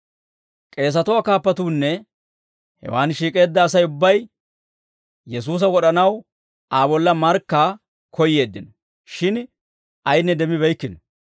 K'eesatuwaa kaappatuunne hewaan shiik'eedda Asay ubbay Yesuusa wod'anaw Aa bolla markkaa koyyeeddino; shin ayinne demmibeykkino.